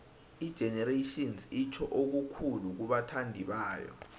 igenerations itjho okukhulu kubathandibayo